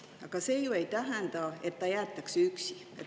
Aga see ju ei tähenda, et ta jäetakse üksi.